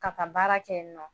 Ka taa baara kɛ yen nɔ